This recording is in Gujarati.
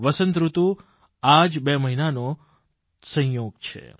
વસંતઋતુ આ જ બે મહિનાનો તો સંયોગ છે